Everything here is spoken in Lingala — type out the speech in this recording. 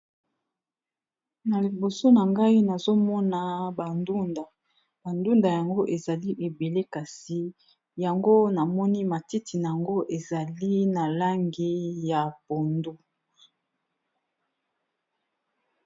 Na liboso na ngai nazomona ba ndunda ba ndunda yango ezali ebele kasi yango namoni matiti na yango ezali na langi ya pondu.